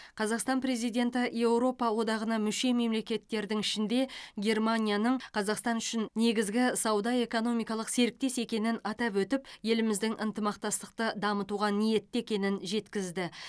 қазақстан президенті еуропа одағына мүше мемлекеттердің ішінде германияның қазақстан үшін негізгі сауда экономикалық серіктес екенін атап өтіп еліміздің ынтымақтастықты дамытуға ниетті екенін жеткізді